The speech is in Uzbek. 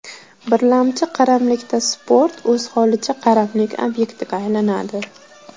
Birlamchi qaramlikda sport o‘z holicha qaramlik obyektiga aylanadi.